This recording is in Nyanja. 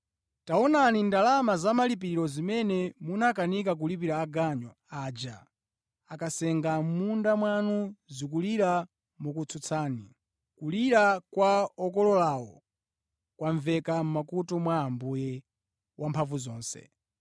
Taonani, ndalama za malipiro zimene munakanika kulipira aganyu aja ankasenga mʼmunda mwanu zikulira mokutsutsani. Kulira kwa okololawo kwamveka mʼmakutu mwa Ambuye Wamphamvuzonse.